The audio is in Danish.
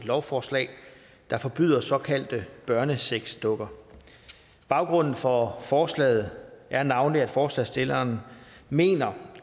lovforslag der forbyder såkaldte børnesexdukker baggrunden for forslaget er navnlig at forslagsstillerne mener